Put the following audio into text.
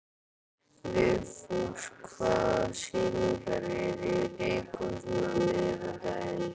Vigfús, hvaða sýningar eru í leikhúsinu á miðvikudaginn?